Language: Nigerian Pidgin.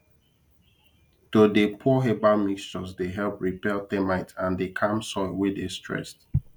to dey pour herbal mixtures dey help repel termites and dey calm soil wey dey stressed